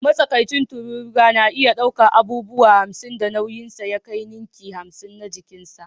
Matsakaicin tururuwa na iya ɗaukar abubuwan da nauyinsu ya kai ninki hamsin na jikinsa